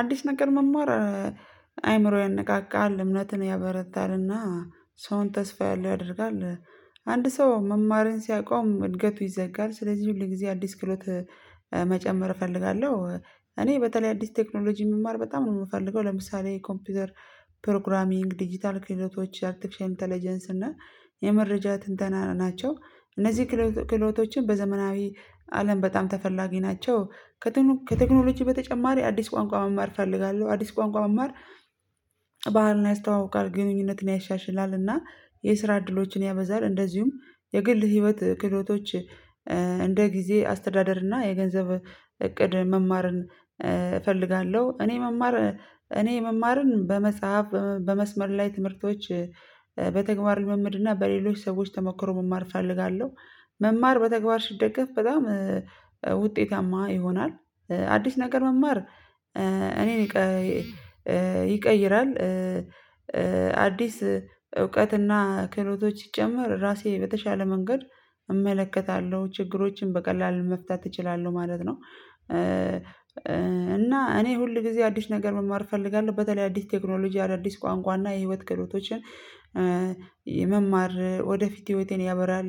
አዲስ ነገር መማር አይምሮዬን ያንቃቃል እምነትን ያበረታልና ሰውን ተስፋ ያለው ያደርጋል። አንድ ሰው መማርን ሲያቆም እድገቱ ይዘጋል ስለዚህ ሁል ጊዜ አዲስ ክህሎት መጨመር እፈልጋለሁ። እኔ በተለይ አዲስ ቴክኖሎጂ የምማር በጣም ነው የምፈልገው ለምሳሌ ኮምፒውተር ፕሮግራሚንግ ዲጂታል ክህሎቶች አርቴፊሻል ኢንተሌጀንስ እና የመረጃ ትንተና ናቸው እነዚህ ክህሎቶችን በዘመናዊ አለም በጣም ተፈላጊ ናቸው። ከቴክኖሎጂ በተጨማሪ አዲስ ቋንቋ መማር እፈልጋለሁ አዲስ ቋንቋ መማር ባህልና ያስተዋውቃል ግንኙነትን ያሻሽላልና። የስራ እድሎችን ያበዛል እንደዚሁም የግል ህይወት ክህደቶች እንደ ጊዜ አስተዳደር እና የገንዘብ እቅድ መማርን እፈልጋለሁ። እኔ መማር እኔ መማርን በመጽሐፍ በመስመር ላይ ትምህርቶች በተግባር ልምምድና በሌሎች ሰዎች ተሞክሮ መማር እፈልጋለሁ። መማር በተግባር ሲደግፍ በጣም ውጤታማ ይሆናል። አዲስ ነገር መማር እኔን ይቀይራል። አዲስ እውቀትና ክህሎቶች ይሲጨመር ራሴ በተሻለ መንገድ እመለከታለሁ ችግሮችን በቀላሉ መፍታት እችላለሁ ማለት ነው። እና እኔ ሁል ጊዜ አዲስ ነገር መማር እፈልጋለሁ። በተለይ አዲስ ቴክኖሎጂ አዳዲስ ቋንቋ እና የህይወት ክህሎቶችን የመማር ወደፊት ህይወቴን ያበራል።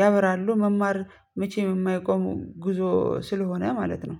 ያበራሉ መማር መቼም የማይቆሙ ጉዞ ስለሆነ ማለት ነው።